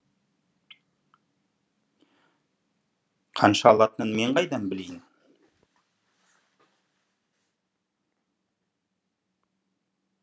қанша алатынын мен қайдан білейін